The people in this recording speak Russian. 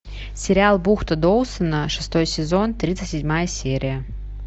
сериал бухта доусона шестой сезон тридцать седьмая серия